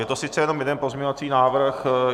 Je to sice jenom jeden pozměňovací návrh.